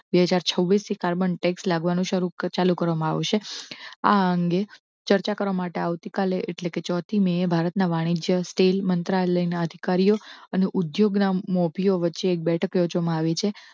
બે હજાર છ્વ્વીસ થી કાર્બન tax લાગવા નું શરૂ કરવામાં આવશે. આ અંગે ચર્ચા કરવા માટે આવતીકાલે એટલે કે ચોથી મે ભારતના વાણિજ્ય સ્ટીલ મંત્રાલયના અધિકારીઓ અને ઉદ્યોગ ના મોભીઓ વચ્ચે એક બેઠક યોજવા માં આવી છે.